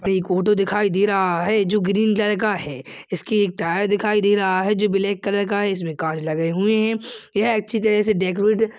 मे एक फोटो दिखाई दे रहा है जो ग्रीन कलर का है जिसकी एक टायर दिखाई दे रहा है जो ब्लैक कलर का है इसमें कांच लगे हुए है यह अच्छे तरह डेकोरेट --